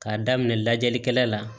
K'a daminɛ lajɛlikɛla la